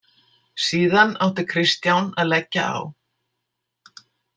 Síðan átti Kristján að leggja á.